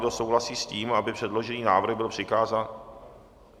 Kdo souhlasí s tím, aby předložený návrh byl přikázán...